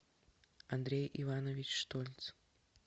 андрей иванович штольц